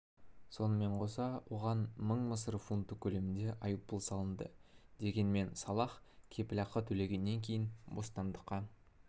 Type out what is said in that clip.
сонымен қоса оған мың мысыр фунты көлемінде айыппұл салынды дегенмен салах кепілақы төлегеннен кейін бостандыққа